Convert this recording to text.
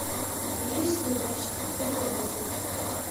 есть ли в вашем отеле лазертаг